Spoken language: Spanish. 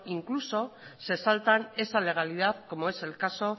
incluso se saltan esa legalidad como es el caso